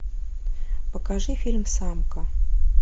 покажи фильм самка